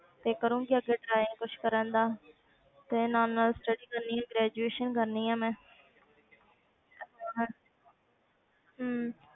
ਤੇ ਕਰੂੰਗੀ ਅੱਗੇ try ਕੁਛ ਕਰਨ ਦਾ ਤੇ ਨਾਲ ਨਾਲ study ਕਰਨੀ ਹੈ graduation ਕਰਨੀ ਹੈ ਮੈਂ ਹਮ